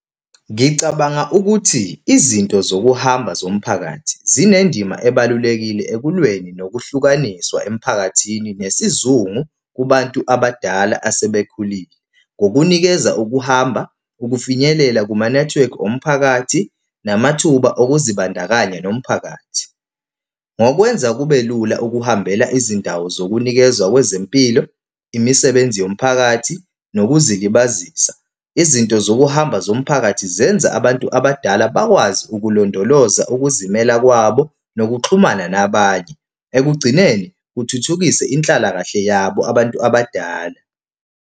Ngicabanga ukuthi izinto zokuhamba zomphakathi zinendima ebalulekile ekulweni nokuhlukaniswa emphakathini nesizungu kubantu abadala asebekhulile. Ngokunikeza ukuhamba, ukufinyelela kumanethiwekhi omphakathi, namathuba okuzibandakanya nomphakathi. Ngokwenza kube lula ukuhambela izindawo zokunikezwa kwezempilo, imisebenzi yomphakathi, nokuzilibazisa. Izinto zokuhamba zomphakathi zenza abantu abadala bakwazi ukulondoloza ukuzimela kwabo nokuxhumana nabanye. Ekugcineni kuthuthukise inhlalakahle yabo abantu abadala.